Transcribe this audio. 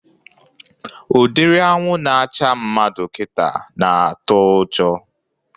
Udiri anwụ na-acha mmadụ kịta na-atụ ụjọ